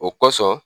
O kɔsɔn